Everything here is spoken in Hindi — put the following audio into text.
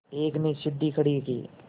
एक ने सीढ़ी खड़ी की